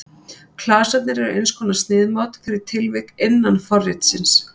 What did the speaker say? Klasarnir eru eins konar sniðmát fyrir tilvik innan forritsins.